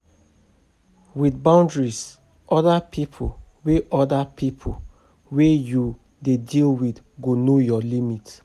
With boundaries oda pipo wey oda pipo wey you dey deal with go know your limit